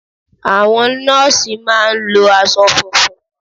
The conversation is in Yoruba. Àwọn nọ́ọ̀sì mà a ń lo asọ funfun